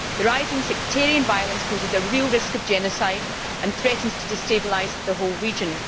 The rising sectarian violence poses a real risk of genocide and threatens to destabilise the whole region.